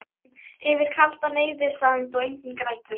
Yfir kaldan eyðisand og Enginn grætur